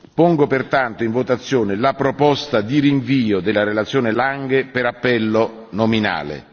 Pongo pertanto in votazione la proposta di rinvio della relazione Lange per appello nominale.